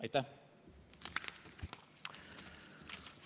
Aitäh!